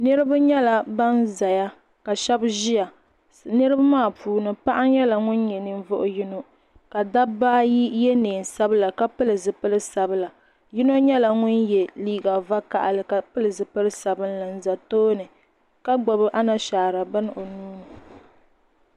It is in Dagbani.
Niraba nyela ban ʒeya ka sheba ʒɛya. Niraba maa puuni paɣa nyela ŋun nye ninvuɣu yino ka dabbaa ayi ye nein sabila ka pili zipil sabila. Yino nyela ŋun ye liiga vakahili ka pili zipili sabinli n za tooni ka gbubi anashaara bini o nuuni